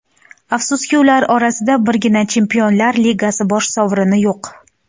Afsuski, ular orasida birgina Chempionlar Ligasi bosh sovrini yo‘q.